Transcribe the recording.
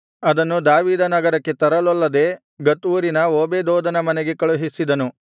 ಅದನ್ನು ದಾವೀದನಗರಕ್ಕೆ ತರಲೊಲ್ಲದೆ ಗತ್ ಊರಿನ ಓಬೇದೆದೋಮನ ಮನೆಗೆ ಕಳುಹಿಸಿದನು